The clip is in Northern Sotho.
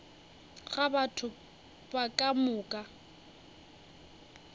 ga batho ba ka moka